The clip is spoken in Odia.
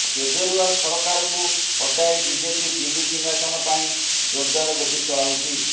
କେଜରିୱାଲ ସରକାରକୁ ହଟାଇ ବିଜେପି ଦିଲ୍ଲୀ ସିଂହାସନ ପାଇଁ ଜୋରଦାର ଗୋଟି ଚଳାଉଛି